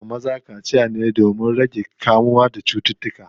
Ana yiwa maza kaciya ne domin yana rage damar kamuwa da cututtukan da ake samu wajen jimaʼi.